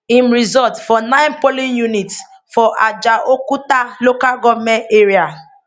im result for nine polling units for ajaokuta local goment area